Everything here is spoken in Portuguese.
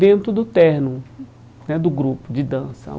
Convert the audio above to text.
dentro do terno né do grupo de dança.